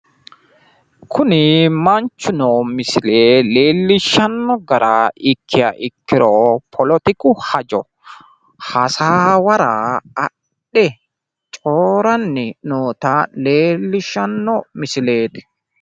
kunni manchi misile leellishanno gara ikkiha ikkiro politiku hajo hasaawara adhe coyiranni noota leellishshanno missileti.